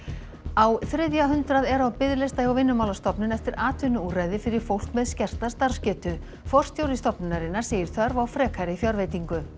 á þriðja hundrað eru á biðlista hjá Vinnumálastofnun eftir atvinnuúrræði fyrir fólk með skerta starfsgetu forstjóri stofnunarinnar segir þörf á frekari fjárveitingu